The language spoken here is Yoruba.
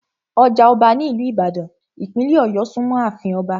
Ọjà ọba ní ìlú ìbàdàn, ìpínlẹ̀ ọ̀yọ́ súnmọ́ àfin Ọba